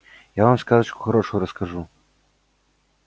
я вам сказочку хорошую расскажу